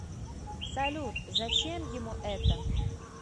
салют зачем ему это